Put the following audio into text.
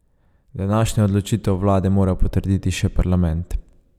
Današnjo odločitev vlade mora potrditi še parlament.